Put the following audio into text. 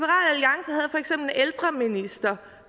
ældreminister